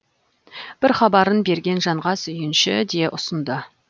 бір хабарын берген жанға сүйінші де ұсынды